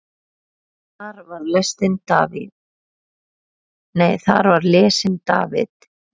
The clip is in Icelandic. Þar var lesinn David